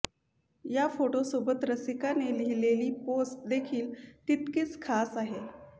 या फोटोसोबत रसिकाने लिहलेली पोस्ट देखील तितकीच खास आहे